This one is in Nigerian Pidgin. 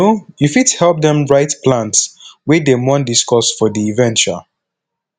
um yu fit help dem write plans wey dem wan discuss for di event um